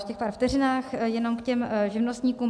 V těch pár vteřinách jenom k těm živnostníkům.